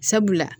Sabula